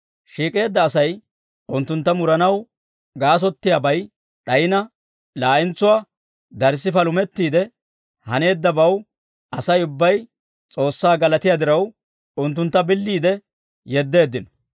Shiik'eedda Asay unttuntta muranaw gaasottiyaabay d'ayina, laa'entsuwaa darssi palumettiide, haneeddabaw Asay ubbay S'oossaa galatiyaa diraw, unttuntta billiide yeddeeddino.